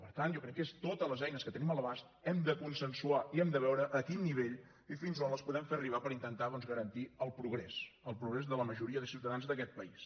per tant jo crec que és amb totes les eines que tenim a l’abast hem de consensuar i hem de veure a quin nivell i fins a on les podem fer arribar per intentar doncs garantir el progrés el progrés de la majoria de ciutadans d’aquest país